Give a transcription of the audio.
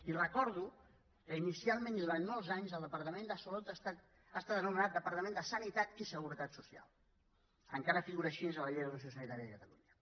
i recordo que inicialment i durant molts anys el departament de salut ha estat anomenat departament de sanitat i seguretat social encara figura així en la llei d’ordenació sanitària de catalunya